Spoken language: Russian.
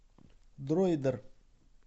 дроидер